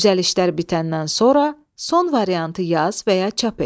Düzəlişlər bitəndən sonra son variantı yaz və ya çap et.